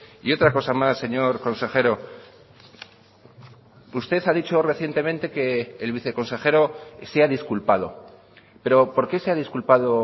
y otra cosa más señor consejero usted ha dicho recientemente que el viceconsejero se ha disculpado pero por qué se ha disculpado